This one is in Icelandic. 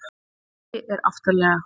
Raufaruggi er aftarlega.